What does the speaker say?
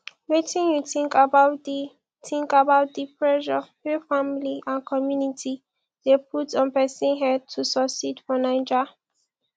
wetin you think about di think about di pressure wey family and community dey put on pesin head to succeed for naija